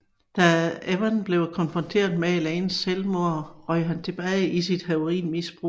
Da Evans blev konfronteret med Elaines selvmord røg han tilbage til sit heroinmisbrug